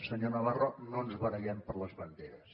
senyor navarro no ens barallem per les banderes